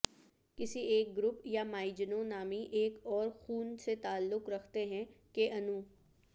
کسی ایک گروپ یا مائجنوں نامی ایک اور خون سے تعلق رکھتے ہیں کہ انو